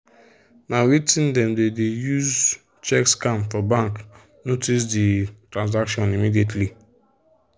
na wetin them dey dey use check scam for bank notice the transaction immediately